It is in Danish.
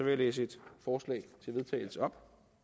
jeg læse et forslag til vedtagelse op